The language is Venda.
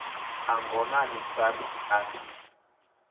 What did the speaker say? a ngonani sars a si